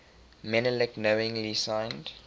menelik knowingly signed